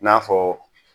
I n'a fɔ